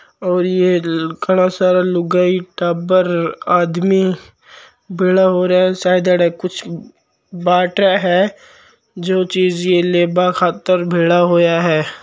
और ये घाना सारा लुगाई टाबर आदमी भेळा होरा है शायद एह कुछ बांटे है जो चीज़ लेबा खातर भेळा होया है।